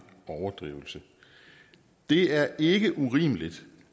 overdrivelse det er ikke urimeligt